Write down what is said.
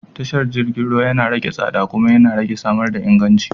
Tashar jirgin ruwa yana rage tsada kuma yana samar da inganci.